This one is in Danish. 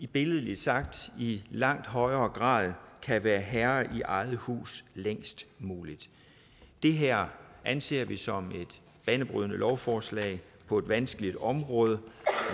billedligt sagt i langt højere grad kan være herre i eget hus længst muligt det her anser vi som et banebrydende lovforslag på et vanskeligt område